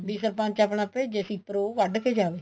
ਵੀ ਸਰਪੰਚ ਆਪਣਾ ਭੇਜ਼ੇ shipper ਉਹ ਕੱਢਕੇ ਜਾਵੇ